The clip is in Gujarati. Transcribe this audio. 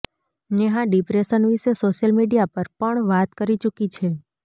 નેહા ડિપ્રેશન વિશે સોશિયલ મીડિયા પર પણ વાત કરી ચૂકી છે